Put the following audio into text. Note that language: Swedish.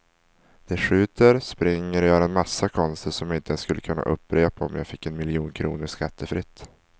De skjuter, springer och gör en massa konster som jag inte ens skulle kunna upprepa om jag fick en miljon kronor skattefritt.